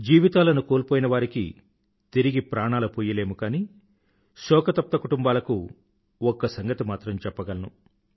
జీవితాలను కోల్పోయినవారికి తిరిగి ప్రాణాలు పొయ్యలేము కానీ శోకతప్త కుటుంబాలకు ఒక్క సంగతి మాత్రం చెప్పగలను